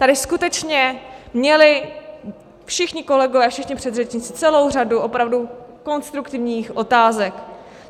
Tady skutečně měli všichni kolegové, všichni předřečníci celou řadu opravdu konstruktivních otázek.